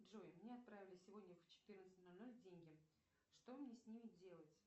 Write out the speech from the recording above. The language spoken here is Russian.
джой мне отправили сегодня в четырнадцать ноль ноль деньги что мне с ними делать